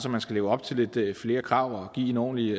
at man skal leve op til lidt flere krav og give en ordentlig